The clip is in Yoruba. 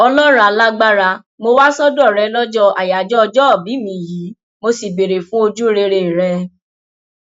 ọlọrun alágbára mo wá sọdọ rẹ lọjọ ayájọ ọjọòbí mi yìí mo sì béèrè fún ojúrere rẹ